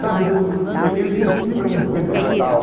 Sabe, e eles não ficam num pedestal.